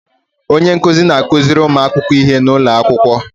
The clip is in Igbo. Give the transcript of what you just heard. Onye nkuzi na-akuziri ụmụ akwụkwọ ihe n'ụlọ akwụkwọ.